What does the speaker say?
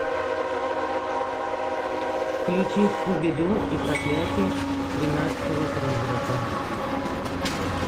включи скуби ду и проклятие тринадцатого призрака